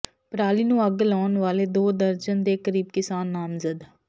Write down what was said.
ਪਰਾਲੀ ਨੂੰ ਅੱਗ ਲਾਉਣ ਵਾਲੇ ਦੋ ਦਰਜਨ ਦੇ ਕਰੀਬ ਕਿਸਾਨ ਨਾਮਜ਼ਦ